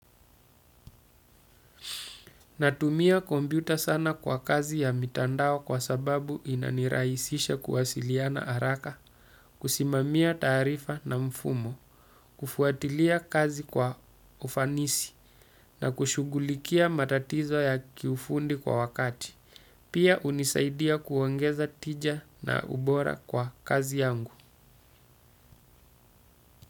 Natumia kompyuta sana kwa kazi ya mitandao kwa sababu inaniraisisha kuwasiliana araka, kusimamia taarifa na mfumo, kufuatilia kazi kwa ufanisi na kushugulikia matatizo ya kiufundi kwa wakati. Pia unisaidia kuongeza tija na ubora kwa kazi yangu.